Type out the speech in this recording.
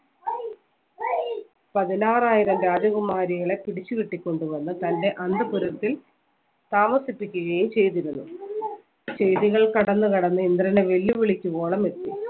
പതിനാറായിരം രാജകുമാരികളെ പിടിച്ചു കിട്ടി കൊണ്ടുവന്ന തൻറെ അന്തപുരത്തിൽ താമസിപ്പിക്കുകയും ചെയ്തിരുന്നു ചെയ്തികൾ കടന്നു കടന്ന് ഇന്ദ്രനെ വെല്ലുവിളിക്കുവോളം എത്തി